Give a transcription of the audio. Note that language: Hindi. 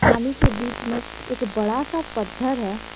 पानी के बीच में एक बड़ा सा पत्थर है।